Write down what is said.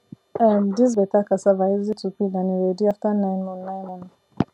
um this better cassava easy to peel and e ready after nine moon nine moon